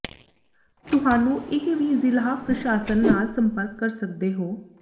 ਤੁਹਾਨੂੰ ਇਹ ਵੀ ਜ਼ਿਲ੍ਹਾ ਪ੍ਰਸ਼ਾਸਨ ਨਾਲ ਸੰਪਰਕ ਕਰ ਸਕਦੇ ਹੋ